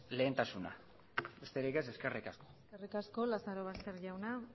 lehentasuna besterik ez eskerrik asko eskerrik asko lazarobaster jauna